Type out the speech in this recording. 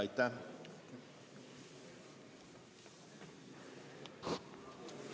Aitäh!